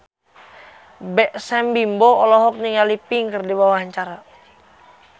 Sam Bimbo olohok ningali Pink keur diwawancara